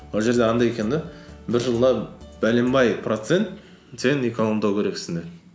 ол жерде андай екен де бір жылда процент сен экономдау керексің деп